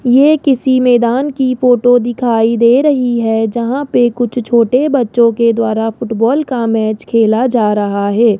ये किसी मैदान की फोटो दिखाई दे रही है जहां पे कुछ छोटे बच्चों के द्वारा फुटबॉल का मैच खेला जा रहा है।